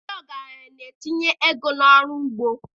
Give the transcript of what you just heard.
Ndị ọgaranya na-etinye ego n'ọrụ ugbo.